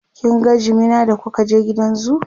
kin ga jimina da kuka je gidan zoo?